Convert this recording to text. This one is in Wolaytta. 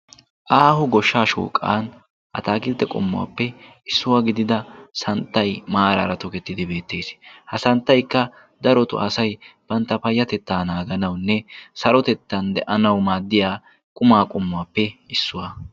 Aaho goshshaa shooqan ataakilttee qommuwaappe issuwaa gidida santtay maaraara tokettidi beettees ha santtaykka darotu asay bantta payyatettaa naaganaunne sarotettan de'anau maaddiya qumaa qommuwaappe issuwaa.